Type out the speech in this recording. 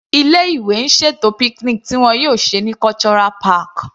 Ilé ìwé ń ṣètò picnic tí wọn yóò ṣe ní Cultural park.